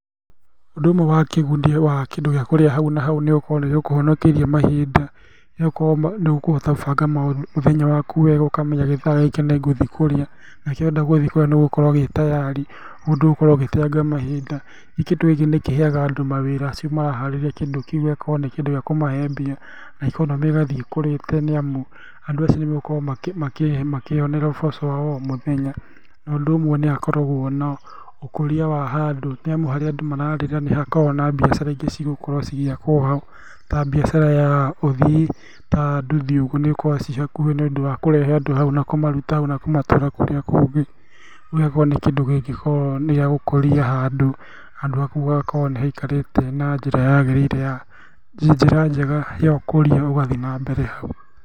Ũndũ ũmwe wa kĩguni wa kĩndũ gĩakũrĩa hau na hau nĩgũkorwo nĩgĩkũhonokeirie mahinda, ũgakorwo nĩũkũhota gũbanga maũndũ, mũthenya waku wega ũkamenya gĩthaa gĩkĩ nĩngũthiĩ kũrĩa, nakĩrĩa ũrenda gũthiĩ kũrĩa nĩũgũkora gĩtayari, ũguo ndũgũkorwo ũgĩteanga mahinda, ningĩ kĩndũ gĩkĩ nĩkĩheaga andũ mawĩra, acio maraharĩria kĩndũ kĩu gĩgakorwo nĩkĩndũ gĩakũmahe mbia na ikonomĩ ĩgathiĩ ĩkũrĩte nĩamu andũ acio nĩmegũkorwo makĩyonera ũboco wao wa omũthenya, na ũndũ ũmwe nĩhakoragwo na ũkũria wa handũ nĩamu harĩa andũ mararĩra nĩhakoragwo na mbiacara ingĩ cigũkorwo cigĩakwo ho, ta mbiacara ya ũthii ta nduthi ũguo nĩgũkora ciĩhakuhĩ nĩũndũ wa kũrehe andũ hau na kũmaruta hau na kũmatwara kũrĩa kũngĩ, gĩgakorwo nĩ kĩndũ kĩngĩkorwo nĩgĩagũkũria handũ, handũ hau hagakorwo nĩhaikarĩte na njĩra yagĩrĩire ya njĩra njega na ũkũria ũgathiĩ nambere hau.